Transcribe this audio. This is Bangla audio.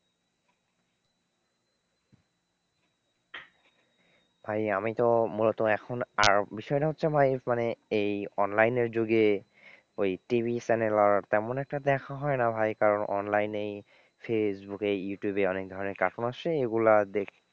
ভাই আমি তো মূলত এখন আর বিষয়টা হচ্ছে ভাই মানে এই online এর যুগে ওই TV Channel আর তেমন একটা দেখা হয়না ভাই কারণ online এই ফেসবুকে ইউটিউবে অনেক ধরনের cartoon আসে এগুলো দেখি,